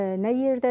Nə yerdədir?